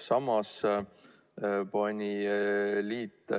Samas liit